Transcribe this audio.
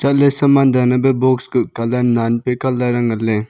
saman dan e pe box kuh colour nan nan pe colour ang ngan ley.